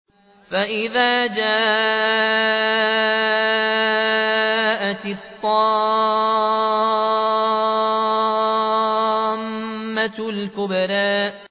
فَإِذَا جَاءَتِ الطَّامَّةُ الْكُبْرَىٰ